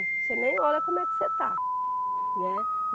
Você nem olha como é que você está, né.